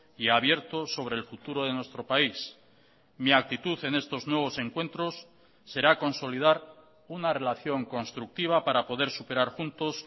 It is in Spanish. y abierto sobre el futuro de nuestro país mi actitud en estos nuevos encuentros será consolidar una relación constructiva para poder superar juntos